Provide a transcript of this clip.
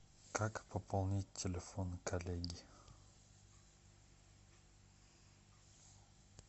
как пополнить телефон коллеги